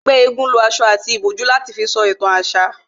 Ẹgbẹ́ égún lo aṣọ àti ìbòjú láti fi sọ ìtàn àṣà